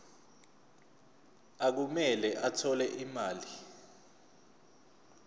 okumele athole imali